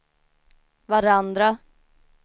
varandra